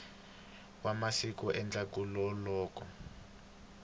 wa masiku endzhaklu ka loko